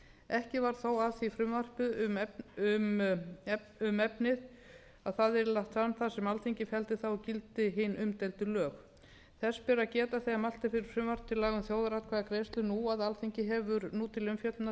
ekki varð þó af því frumvarpi um efnið að það yrði lagt fram þar sem alþingi felldi það úr gildi hin umdeildu lög þess ber að geta þegar mælt er fyrir frumvarpi til laga um þjóðaratkvæðagreiðslur nú að alþingi hefur nú til umfjöllunar